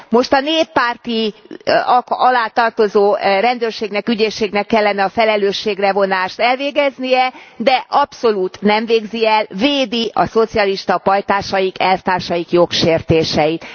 Most a néppárt alá tartozó rendőrségnek, ügyészségnek kellene a felelősségre vonást elvégeznie, de abszolút nem végzi el, védi a szocialista pajtásaik, elvtársaik jogsértéseit.